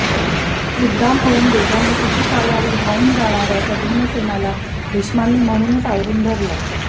उद्दाम होऊन वेगाने शिशुपालावर धावून जाणाऱया त्या भीमसेनाला भीष्मांनी म्हणूनच आवरून धरला